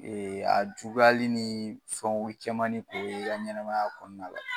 Ee a juguyali ni fɛnw caman de be i ka ɲɛnaɛmaya kɔnɔna la.